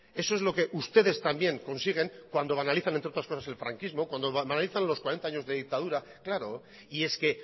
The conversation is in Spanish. eso es lo que ustedes también consiguen cuando banalizan entre otras cosas el franquismo cuando banalizan los cuarenta años de dictadura claro y es que